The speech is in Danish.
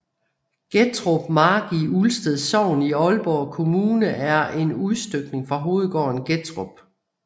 Gettrup Mark i Ulsted Sogn i Aalborg Kommune er en udstykning fra hovedgården Gettrup